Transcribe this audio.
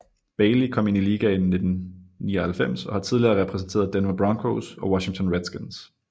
Bailey kom ind i ligaen i 1999 og har tidligere repræsenteret Denver Broncos og Washington Redskins